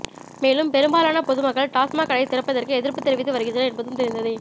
மேலும் பெரும்பாலான பொதுமக்கள் டாஸ்மாக் கடையை திறப்பதற்கு எதிர்ப்பு தெரிவித்து வருகின்றனர் என்பதும் தெரிந்ததே